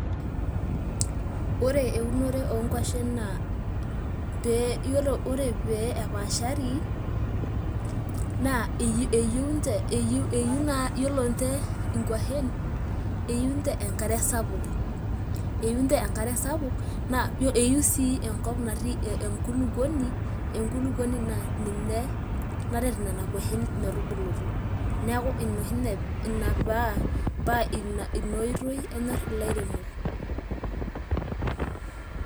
ore eunore oonkuashen naa, ore, ore pee epaashari naa eyieu nche enkare sapuk naa eyieu sii enkop natii enkulukuoni naa ninye naret nena kwashen metubulutu neeku ina oshi nye ina paa ina oitoi enyorr ilairemok